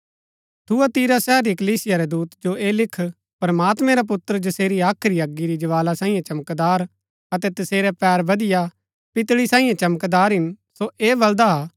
थुआतीरा शहर री कलीसिया रै दूत जो ऐह लिख प्रमात्मैं रा पुत्र जसेरी हाख्री अगी री ज्वाला सांईये चमकदार अतै तसेरै पैर बदिआ पितळी सांईये चमकदार हिन सो ऐ बलदा हा कि